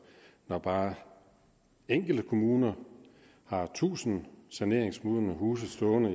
når bare enkelte kommuner har tusind saneringsmodne huse stående